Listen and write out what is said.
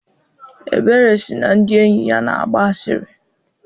Ebere sị na ndị enyi ya na-agba asịrị.